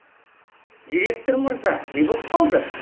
директор мырза не боп қалды